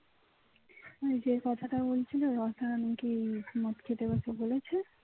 যে কথাটা বলছিল রচনা নাকি মদ খেতে গেছে বলেছে